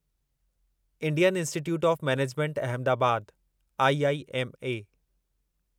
Indian institute of management Ahmedabad IIM